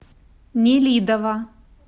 нелидово